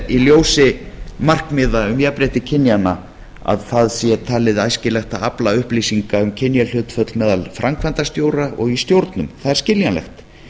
í ljósi markmiða um jafnrétti kynjanna að það sé talið æskilegt að afla upplýsinga um kynjahlutföll meðal framkvæmdastjóra og stjórnum það er skiljanlegt